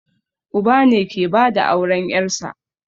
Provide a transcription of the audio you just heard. Uba ne ke bada auren ƴarsa